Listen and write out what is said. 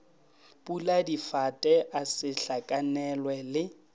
puladifate a se hlakanelwe le